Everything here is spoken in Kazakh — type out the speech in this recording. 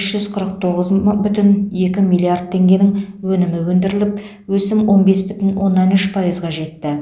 үш жүз қырық тоғыз бүтін оннан екі миллиард теңгенің өнімі өндіріліп өсім он бес бүтін оннан үш пайызға жетті